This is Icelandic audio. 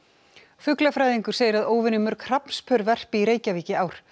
fuglafræðingur segir að óvenju mörg verpi í Reykjavík í ár